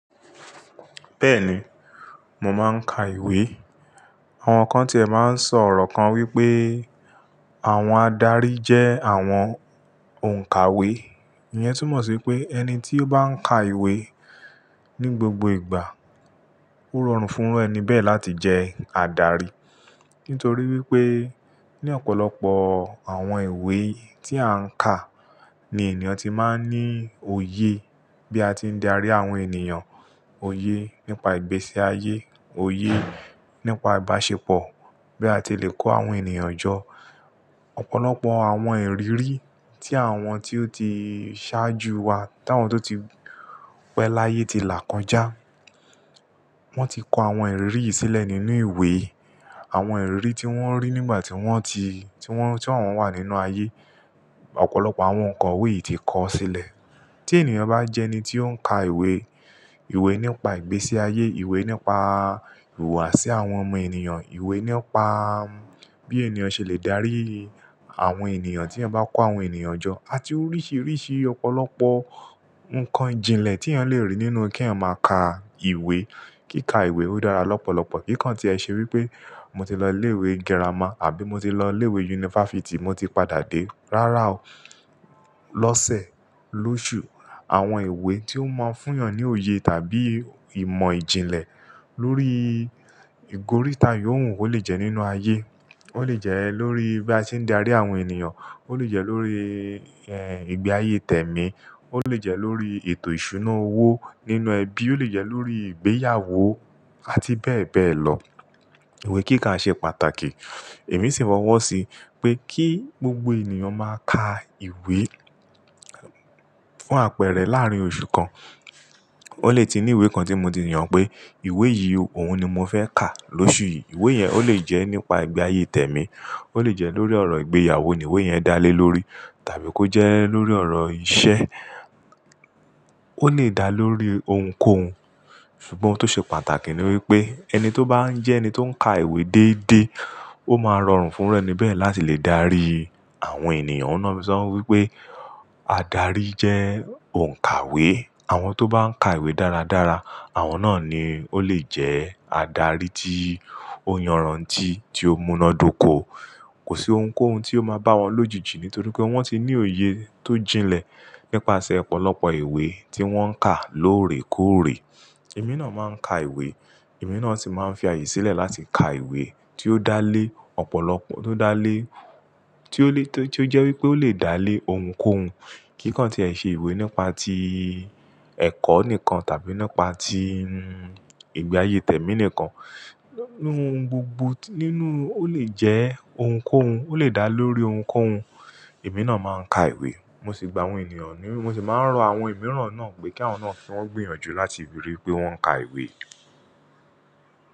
Bẹ́ẹ̀ni, mo máa ń ka ìwé. Àwọn kan ti è máa ń sọ̀rọ̀ kan wípé àwọn adarí jẹ́ àwọn òǹkàwé. Ìyẹn túmọ̀ sí pé ẹni tí ó bá ń ka ìwé ní gbogbo ìgbà, ó rọrùn fún ẹni bẹ́ẹ̀ láti jẹ́ adarí. Nítorí wípé ní ọ̀pọ̀lọpọ̀ àwọn ìwé tí a ń kà ni ènìyàn tí máa ń ní òye bí a ti ń darí àwọn ènìyàn, òye nípa ìgbésí ayé, òye nípa ìbáṣepọ̀, bí a ti lè kó àwọn ènìyàn jọ. Ọ̀pọ̀lọpọ̀ àwọn ìrírí tí àwọn tí ó ti ṣáájú wa, táwọn tó ti pẹ̀ láyé ti là kọjá. Wọ́n ti kó àwọn ìrírí yìí sílẹ̀ nínú ìwé. Àwọn ìrírí tí wọ́n rí nígbà tí wọ́n ti, tí wọ́n, tí àwọn wà nínú ayé. Ọ̀pọ̀lọpọ̀ àwọn nǹkan wí yìí ti kọ́ sílẹ̀. Tí ènìyàn bá jẹ́ ẹni tí ó ń ka ìwé, ìwé nípa ìgbésí ayé, ìwé nípa ìhùwàsí àwọn ọmọ ènìyàn, ìwé nípa bí ènìyàn ṣe lè dárí àwọn ènìyàn tí ẹ yàn bá kó àwọn ènìyàn jọ, àti oríṣìíríṣìí ọ̀pọ̀lọpọ̀ nǹkan jìnlẹ̀ tí èèyàn lè rí nínú kí èèyàn máa ka ìwé. Kíka ìwé ó dára lọ́pọ̀lọpọ̀. Kíkán tí ẹ ṣe wípé mo ti lọ ilé ìwé girama àbí mo ti lọ ilé ìwé yunifásítì, mo ti padà dé. Rárá o. Lọ́sẹ̀, lóṣù. Àwọn ìwé tí ó máa ń fún èèyàn ní òye tàbí ìmọ̀ ìjìnlẹ̀ lórí ìgóríta ìhòhùn ó lè jẹ́ nínú ayé. Ó lè jẹ́ lórí bí a ti ń darí àwọn ènìyàn. Ó lè jẹ́ lórí, ẹ́, ìgbé ayé tèmi. Ó lè jẹ́ lórí ètò ìṣúná owó nínú ẹbí. Ó lè jẹ́ lórí ìgbéyàwó àti bẹ́ẹ̀ bẹ́ẹ̀ lọ. Ìwé kíka ń ṣe pàtàkì. Èmi sì fo ń wọ́ sí pé kí gbogbo ènìyàn máa ka ìwé fún àpẹẹrẹ láàárín oṣù kan. Ó lè ti ní ìwé kan tí mo ti mọ̀ pé ìwé yìí òun ni mo fẹ́ kà lóṣù yìí. Ìwé yẹn ó lè jẹ́ nípa ìgbé ayé tèmi, ó lè jẹ́ lórí ọ̀rọ̀ ìgbéyàwó ni ìwé yẹn dá lé lórí tàbí kó jẹ́ lórí ọ̀rọ̀ ìṣe. Ó le dà lórí ohunkóhun. Ṣùgbọ́n tó ṣe pàtàkì ni wípé ẹni tó bá ń jẹ́ ẹni tó ń ka ìwé dédé, ó máa rọrùn fún ẹni bẹ́ẹ̀ láti lè dárí àwọn ènìyàn. Ó náà mi sọ wípé adarí jẹ́ òǹkàwé. Àwọn tó bá ń ka ìwé dáradára, àwọn náà ni ó lè jẹ́ adarí tí ó yanran tì, tí ó múná dóko. Kò sí ohunkóhun tí ó máa bá wọn lòjijì nítorí pé wọ́n ti ní òye tó jìnlẹ̀ nípasẹ̀ ọ̀pọ̀lọpọ̀ ìwé tí wọ́n kà lóòrèkóòrè. Èmi náà máa ń ka ìwé. Èmi náà sì máa ń fi àyè sílẹ̀ láti ka ìwé tí ó dá lé ọ̀pọ̀lọpọ̀, tó dá lé, tí ó lé, tí ó jẹ́ wípé ó lè dá lé ohunkóhun. Kíkán tí ẹ ṣe ìwé nípa ti ẹ̀kọ́ nìkan tàbí nípa tí ìgbé ayé tèmi nìkan, nínú gbogbo, nínú ó lè jẹ́ ohunkóhun. Ó lè dà lórí ohunkóhun. Èmi náà máa ń ka ìwé. Mo sì gba àwọn ènìyàn ní, mo sì máa ń rọ àwọn ìmọ̀ràn náà pé kí àwọn náà sì máa gbìyànjú láti ríi wípé wọ́n ń ka ìwé.